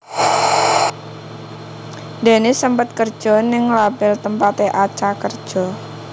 Dennis sempet kerja ning label tempaté Acha kerja